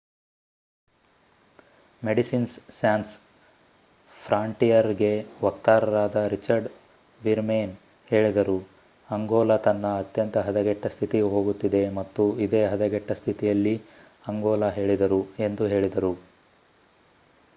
medicines Sans Frontieres ಗೆ ವಕ್ತಾರರಾದ Richard Veerman ಹೇಳಿದರು:"ಅಂಗೋಲ ತನ್ನ ಅತ್ಯಂತ ಹದಗೆಟ್ಟ ಸ್ಥಿತಿಗೆ ಹೋಗುತ್ತಿದೆ ಮತ್ತು ಇದೇ ಹದಗೆಟ್ಟ ಸ್ಥಿತಿಯಲ್ಲಿ ಅಂಗೋಲಾ ಹೇಳಿದರು, ಎಂದು ಹೇಳಿದರು